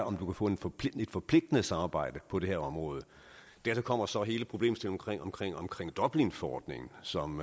om du kan få et forpligtende forpligtende samarbejde på det her område dertil kommer så hele problemstillingen omkring omkring dublinforordningen som